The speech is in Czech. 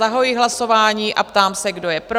Zahajuji hlasování a ptám se, kdo je pro?